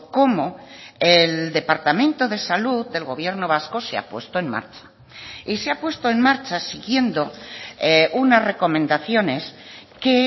como el departamento de salud del gobierno vasco se ha puesto en marcha y se ha puesto en marcha siguiendo unas recomendaciones que